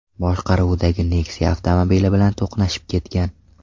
boshqaruvidagi Nexia avtomobili bilan to‘qnashib ketgan.